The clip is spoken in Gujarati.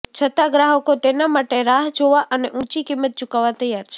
છતાં ગ્રાહકો તેના માટે રાહ જોવા અને ઊંચી કિંમત ચૂકવવા તૈયાર છે